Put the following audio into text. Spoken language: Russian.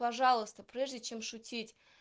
пожалуйста прежде чем шутить